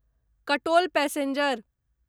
Katol passenger